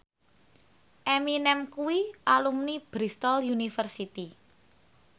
Eminem kuwi alumni Bristol university